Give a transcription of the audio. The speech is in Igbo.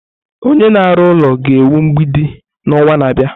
Onye na-arụ ụlọ ga-ewu mgbidi n'ọnwa na-abịa.